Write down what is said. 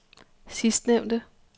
sidstnævnte